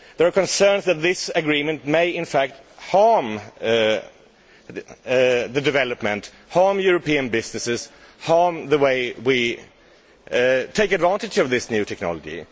There are concerns that the agreement may, in fact, harm development, harm European businesses and harm the way we take advantage of this new technology.